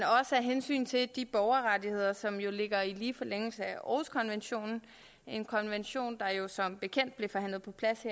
af hensyn til de borgerrettigheder som ligger i lige forlængelse af århuskonventionen en konvention der jo som bekendt blev forhandlet på plads